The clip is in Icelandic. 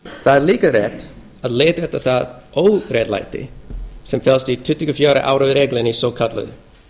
það er líka rétt að leiðrétta það óréttlæti sem felst í tuttugu og fjögurra ára reglunni svokölluðu